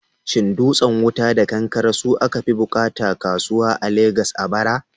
Shin dutsen wuta da kankare su aka fi bukata kasuwa a Legas a bara?